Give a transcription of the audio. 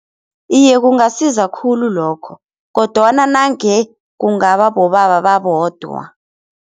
Iye kungasiza khulu lokho kodwana nange kungaba bobaba babodwa.